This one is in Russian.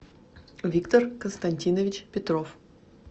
виктор константинович петров